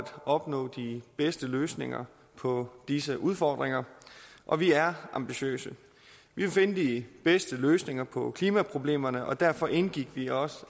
opnå de bedste løsninger på disse udfordringer og vi er ambitiøse vi vil finde de bedste løsninger på klimaproblemerne og derfor indgik vi også